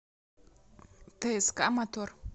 тск мотор